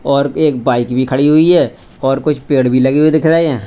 और एक बाइक भी खड़ी हुई है और कुछ पेड़ भी लगे हुए दिख रहे हैं।